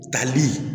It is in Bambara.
Tali